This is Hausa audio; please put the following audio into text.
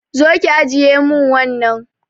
Zo ki ajiye mun wannan